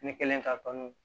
Ne kɛlen ka dɔni